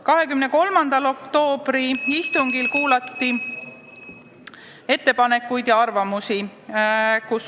23. oktoobri istungil kuulati ettepanekuid ja arvamusi.